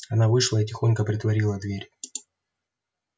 она вышла и тихонько притворила дверь